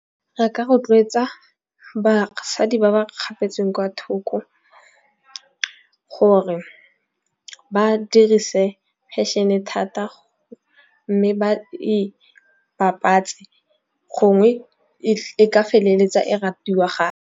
Re ka rotloetsa basadi ba ba kgapetsweng kwa thoko gore ba dirise fashion-e thata. Mme ba e bapatse gongwe e ka feleletsa e ratiwa .